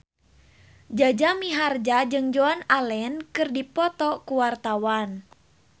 Jaja Mihardja jeung Joan Allen keur dipoto ku wartawan